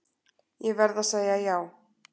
Ég verð að segja já.